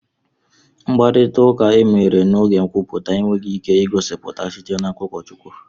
Mkparịta ụka emere n'oge nkwupụta enweghị ike igosipụta site n'aka ụkọchukwu